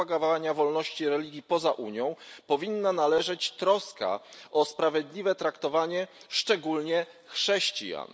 propagowania wolności religii lub przekonań poza UE powinna należeć troska o sprawiedliwe traktowanie szczególnie chrześcijan.